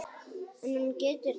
En hún getur dáið